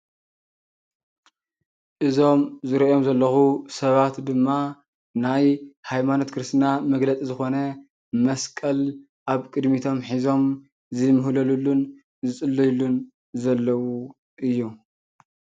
እዞም ዝሪኦም ዘለኹ ሰባት ድማ ናይ ሃይማኖት ክርስትና መግለፂ ዝኾነ መስቀል ኣብ ቅድሚቶም ሒዞም ዝምህለሉሉን ዝፅልይሉን ዘለዉ እዩ፡፡